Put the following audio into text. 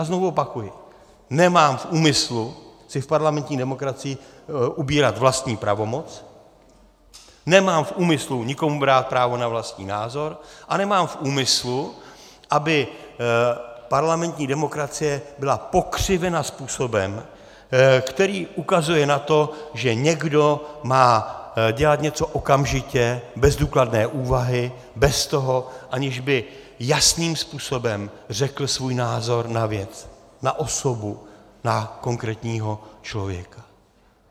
A znovu opakuji, nemám v úmyslu si v parlamentní demokracii ubírat vlastní pravomoc, nemám v úmyslu nikomu brát právo na vlastní názor a nemám v úmyslu, aby parlamentní demokracie byla pokřivena způsobem, který ukazuje na to, že někdo má dělat něco okamžitě bez důkladné úvahy, bez toho, aniž by jasným způsobem řekl svůj názor na věc, na osobu, na konkrétního člověka.